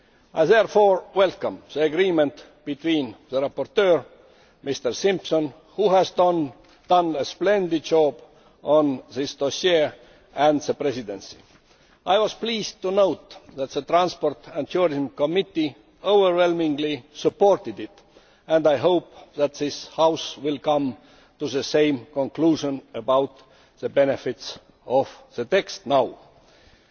I therefore welcome the agreement between the rapporteur, Mr Simpson who has done a splendid job on this dossier and the Presidency. I was pleased to note that the Committee on Transport and Tourism overwhelmingly supported it, and I hope that this House will come to the same conclusion about the benefits of the text as it stands now.